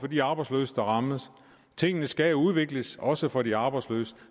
de arbejdsløse der rammes tingene skal udvikles også for de arbejdsløse